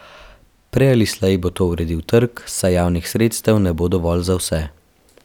Prej ali slej bo to uredil trg, saj javnih sredstev ne bo dovolj za vse.